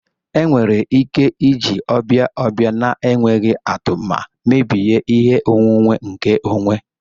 Enwere ike iji ọbịa ọbịa na-enweghị atụ ma mebie ihe onwunwe nkeonwe.